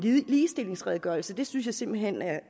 ligestillingsredegørelse synes jeg simpelt hen er